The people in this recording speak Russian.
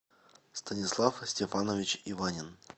станислав степанович иванин